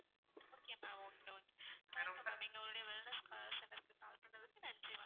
okay ma'am okay okay ma'am நீங்க எங்களுடைய wellness center க்கு call பண்ணதுக்கு நன்றி ma'am